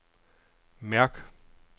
mærk